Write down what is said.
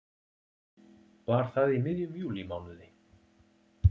Var það í miðjum júlímánuði.